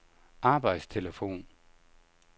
arbejdstelefon